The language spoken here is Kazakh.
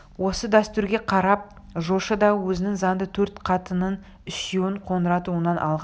осы дәстүрге қарап жошы да өзінің заңды төрт қатынының үшеуін қоңырат руынан алған